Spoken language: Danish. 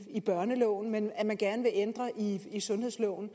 børneloven men at man gerne vil ændre i sundhedsloven